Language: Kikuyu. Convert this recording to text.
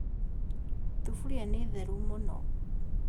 Thuburia nĩ theru mũno